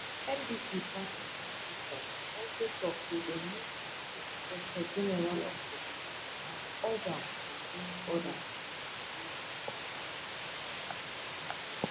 ndc party officials also tok say dem meet di inspector general of police and urge am to bring order to di situation